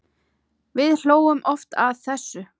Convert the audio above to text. Við hlógum oft að þessu.